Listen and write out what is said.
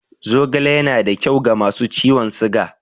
Zogale yana da kyau ga masu ciwon siga.